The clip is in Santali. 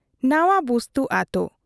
ᱱᱟᱣᱟ ᱵᱩᱥᱛᱩ ᱟᱹᱛᱩ ᱾